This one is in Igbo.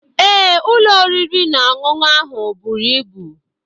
Ee, ụlọ oriri na ọṅụṅụ ahụ buru ibu.